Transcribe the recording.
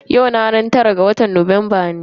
Yau ranar tara ga watan Nuwamba ne.